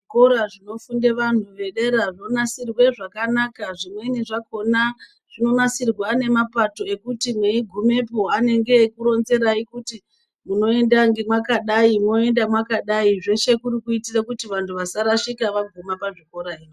Zvikora zvinofunde vantu vedera zvonasirwe zvakanaka. Zvimweni zvakhona zvinonasirwe nemapato ekuti mweigumepo anenge eikuronzerai kuti unoenda mwakadai mwoenda mwakadai. Zveshe kuri kuitire kuti vantu vasarashika vaguma pazvikora izvi.